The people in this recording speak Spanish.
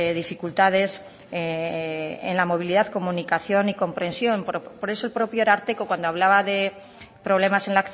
dificultades en la movilidad comunicación y comprensión por eso el propio ararteko cuando hablaba de problemas en